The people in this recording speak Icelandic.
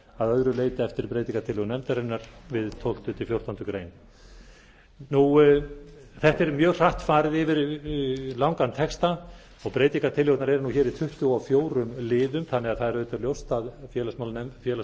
að öðru leyti eftir breytingartillögum nefndarinnar við tólfta til fjórtándu greinar þetta er mjög hratt farið yfir langan texta og breytingartillögurnar eru hér í tuttugu og fjórum liðum þannig að það er auðvitað ljóst að félags og